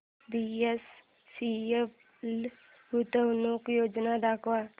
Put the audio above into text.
BHEL गुंतवणूक योजना दाखव